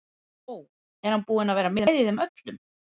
Ó, er hann búinn að vera með í þeim öllum?